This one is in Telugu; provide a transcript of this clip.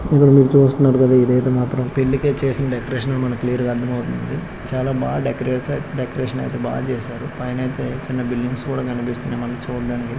ఇక్కడ చూస్తున్నారు కదా ఇది అయితే ఒక పెళ్లి చేసిన డెకరేషన్ అని మనకు క్లియర్ గా అర్థమవుతుంది చాలా బాగా డెకరేట్ డెకరేషన్ అయితే బాగా చేశారు పైన అయితే చిన్న బిల్డింగ్స్ కూడా కనబడుతున్నాయి మనం చూడడానికి.